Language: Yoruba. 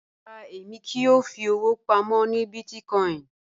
Rárá, èmi kíì yọ́ò fí ọ̀wọ̀ pámọ̀ ní bíìtìkòìn